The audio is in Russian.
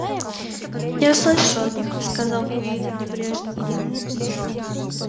я слышал о них сказал куинн небрежно